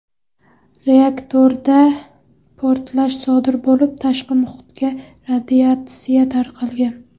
Reaktorda portlash sodir bo‘lib, tashqi muhitga radiatsiya tarqalgan.